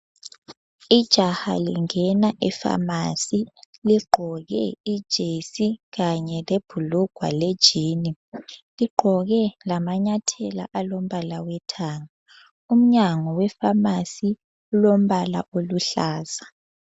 Ijaha lingena efamasi ligqoke ijesi kanye lebhulugwa le jini, ligqoke lamanyathela alombala wethanga. umnyango we famasi ulombala oluhlaza.